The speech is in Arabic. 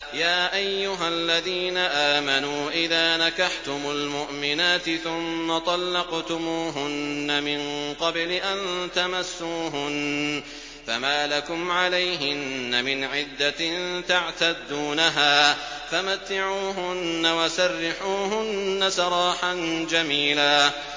يَا أَيُّهَا الَّذِينَ آمَنُوا إِذَا نَكَحْتُمُ الْمُؤْمِنَاتِ ثُمَّ طَلَّقْتُمُوهُنَّ مِن قَبْلِ أَن تَمَسُّوهُنَّ فَمَا لَكُمْ عَلَيْهِنَّ مِنْ عِدَّةٍ تَعْتَدُّونَهَا ۖ فَمَتِّعُوهُنَّ وَسَرِّحُوهُنَّ سَرَاحًا جَمِيلًا